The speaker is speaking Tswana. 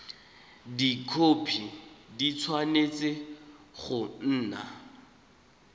dikhopi di tshwanetse go nna